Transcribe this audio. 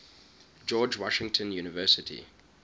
george washington university